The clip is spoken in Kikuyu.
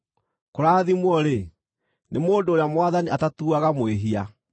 Kũrathimwo-rĩ, nĩ mũndũ ũrĩa Mwathani atatuaga mwĩhia.”